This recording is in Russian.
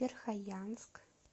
верхоянск